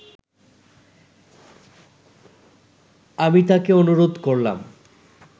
আমি তাকে অনুরোধ করলাম